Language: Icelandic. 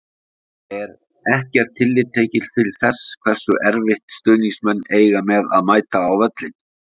Er ekkert tillit tekið til þess hversu erfitt stuðningsmenn eiga með að mæta á völlinn?